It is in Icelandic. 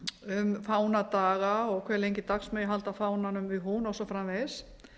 um fánadaga og hve lengi dags megi halda fánanum við hún og svo framvegis